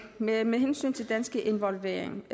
men med hensyn til dansk involvering